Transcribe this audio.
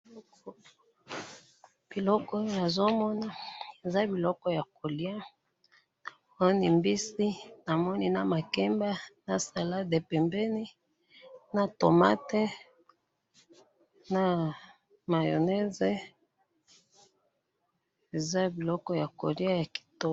biloko oyo nazo mona ,eza biloko ya koliya namoni mbisi namoni na makemba na salade pembeni na tomate na mayonnaise eza biloko ya koliya ya kitoko.